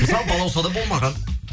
мысалы балаусада болмаған